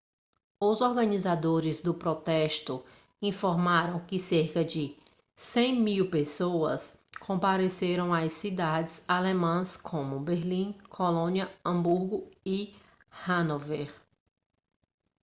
os organizadores do protesto informaram que cerca de 100.000 pessoas compareceram a cidades alemãs como berlim colônia hamburgo e hanover